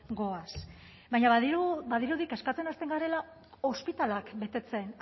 goaz baina badirudi kezkatzen hasten garela ospitaleak betetzen